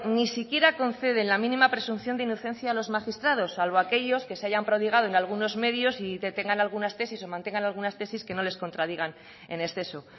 ni siquiera conceden la mínima presunción de inocencia a los magistrados salvo a aquellos que se hayan prodigado en algunos medios y tengan algunas tesis o mantengan algunas tesis que no les contradigan en exceso